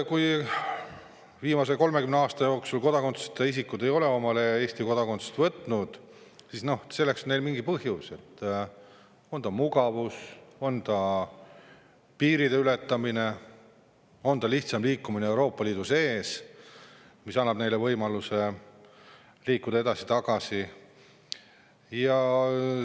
Kui viimase 30 aasta jooksul ei ole kodakondsuseta isikud omale Eesti kodakondsust võtnud, siis selleks on neil mingi põhjus, on see siis mugavus, on see piiriületus, on see lihtsam liikumine Euroopa Liidu sees, võimalus liikuda edasi-tagasi.